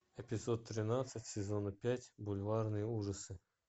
эпизод тринадцать сезона пять бульварные ужасы